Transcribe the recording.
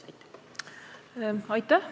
Aitäh!